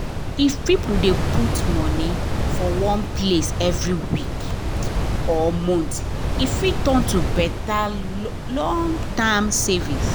if person dey put small money for one place every week or month e fit turn to better long-term savings